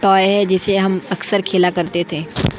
Toy है जिससे हम अक्सर खेला करते थे।